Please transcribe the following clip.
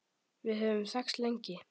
Við höfum þekkst lengi.